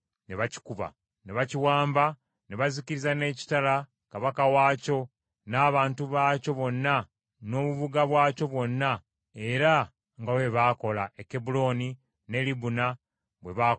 Ne bakiwamba ne bazikiriza n’ekitala kabaka waakyo n’abantu baakyo bonna n’obubuga bwakyo bwonna, era nga bwe baakola e Kebbulooni ne Libuna bwe baakola ne Debiri.